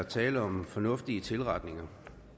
er tale om nogle fornuftige tilretninger